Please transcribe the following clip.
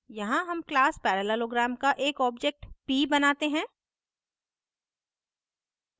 यहाँ हम class parallelogram का एक objectof p बनाते हैं